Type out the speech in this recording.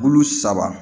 Bulu saba